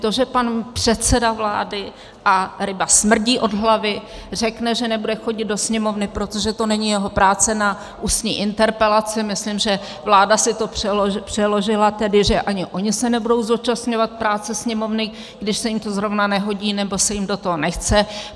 To, že pan předseda vlády - a ryba smrdí od hlavy - řekne, že nebude chodit do Sněmovny, protože to není jeho práce, na ústní interpelace, myslím, že vláda si to přeložila tedy, že ani oni se nebudou zúčastňovat práce Sněmovny, když se jim to zrovna nehodí nebo se jim do toho nechce.